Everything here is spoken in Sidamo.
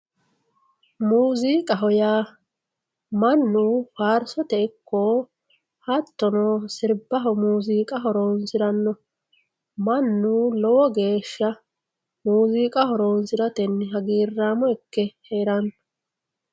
Muuzziiqqaho yaa manu faarisote ikko hatono siribaho muuzziiqqa horonsiranno, manu lowo geesha muuzziiqqa horonsiratenni haggiramo ikke heeranno